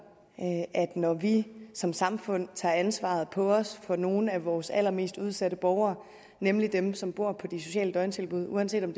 at når vi som samfund tager ansvaret på os for nogle af vores allermest udsatte borgere nemlig dem som bor på de sociale døgntilbud uanset om